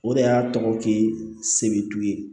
O de y'a tɔgɔki setu ye